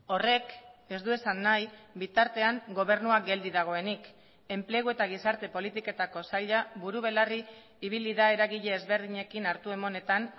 horrek ez du esan nahi bitartean gobernua geldi dagoenik enplegu eta gizarte politiketako saila buru belarri ibili da eragile ezberdinekin hartu emanetan